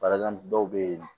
Barika dɔw bɛ yen